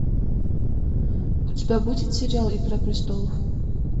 у тебя будет сериал игра престолов